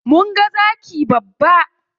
Mun ga zaki babba.